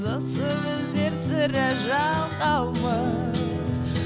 осы біздер сірә жалқаумыз